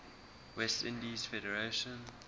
west indies federation